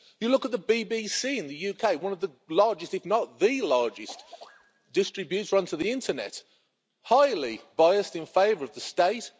Look at the BBC in the UK one of the largest, if not the largest distributor onto the internet highly biased in favour of the state.